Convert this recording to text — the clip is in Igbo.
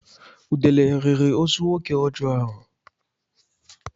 Udele riri ozu nwoke ọjọọ ahụ.